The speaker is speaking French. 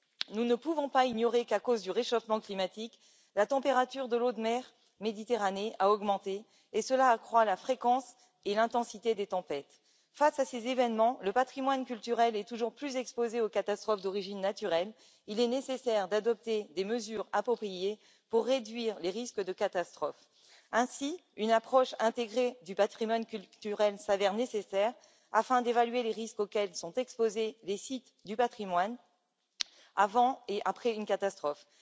Nous ne pouvons pas ignorer qu'à cause du réchauffement climatique, la température de l'eau de la Méditerranée a augmenté, ce qui accroît la fréquence et l'intensité des tempêtes. Face à ces événements, le patrimoine culturel est toujours plus exposé aux catastrophes d'origine naturelle. Il est nécessaire d'adopter des mesures appropriées pour réduire les risques de catastrophe. Ainsi, une vision intégrée du patrimoine culturel s'avère nécessaire afin d'évaluer les risques auxquels sont exposés les sites du patrimoine avant et après une catastrophe.